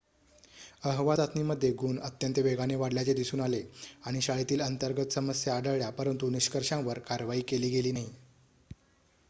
अहवाल चाचणीमध्ये गुण अत्यंत वेगाने वाढल्याचे दिसून आले आणि शाळेतील अंतर्गत समस्या आढळल्या परंतु निष्कर्षांवर कारवाई केली नाही